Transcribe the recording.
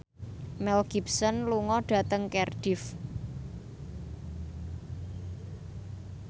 Mel Gibson lunga dhateng Cardiff